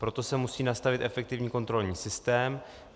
Proto se musí nastavit efektivní kontrolní systém.